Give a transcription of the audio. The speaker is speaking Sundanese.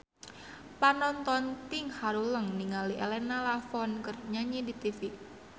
Panonton ting haruleng ningali Elena Levon keur nyanyi di tipi